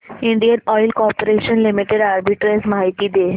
Indian Oil Corporation Limited arbitrage माहिती दे